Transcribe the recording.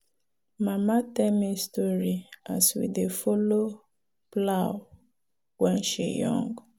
mama tell me story as we dey follow plow when she young.